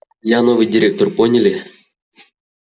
я новый директор поняли